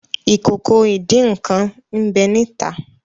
Ìkòkò ìdín-nǹkan n'be ni ita.